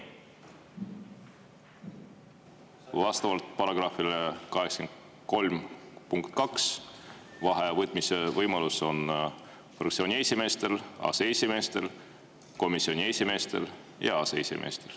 Vastavalt § 83 punktile 2: vaheaja võtmise võimalus on fraktsiooni esimeestel, aseesimeestel, komisjoni esimeestel ja aseesimeestel.